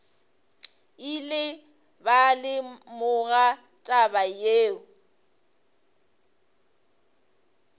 ile ba lemoga taba yeo